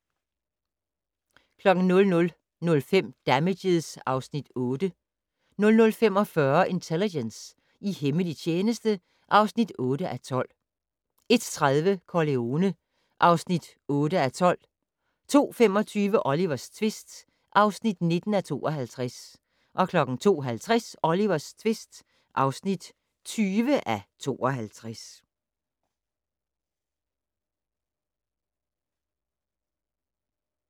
00:05: Damages (Afs. 8) 00:45: Intelligence - i hemmelig tjeneste (8:12) 01:30: Corleone (8:12) 02:25: Olivers tvist (19:52) 02:50: Olivers tvist (20:52)